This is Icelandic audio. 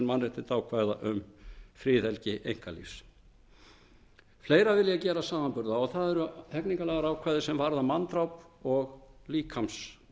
mannréttindaákvæða um friðhelgi einkalífs fleiru vil ég gera samanburð á og það eru hegningarlagaákvæði sem varða manndráp og líkamsárásir í